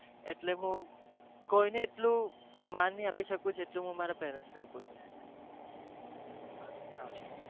એટલે હું કોઈ ને એટલું મન નહી આપી સકું જેટલું હું મારા મમ્મી પપ્પા ને અપૂ છ